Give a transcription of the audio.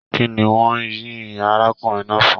Kínní wọn yín arákùnrin náà fún?